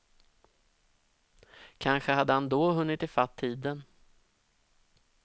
Kanske hade han då hunnit ifatt tiden.